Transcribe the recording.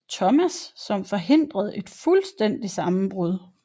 Thomas som forhindrede et fuldstændigt sammenbrud